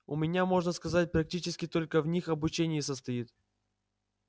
у меня можно сказать практически только в них обучение и состоит